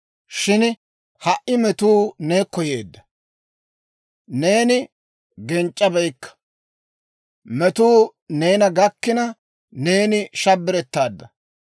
Shin ha"i metuu neekko yeedda; neeni genc'c'abeykka. Metuu neena gakkina, neeni shabbirettaadda.